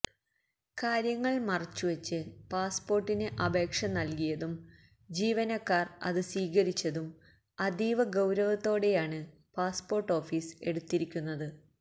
കാര്യങ്ങള് മറച്ചുവച്ച് പാസ്പോര്ട്ടിന് അപേക്ഷ നല്കിയതും ജീവനക്കാര് അത് സ്വീകരിച്ചതും അതീവ ഗൌരവത്തോടെയാണ് പാസ്പോര്ട്ട് ഓഫീസ് എടുത്തിരിക്കുന്നത്